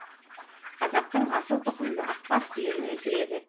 қазақтың асыл тұқымды ақбас сиырын өсіреді